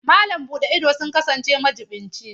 Malam buɗe ido sun kasance majiɓinci.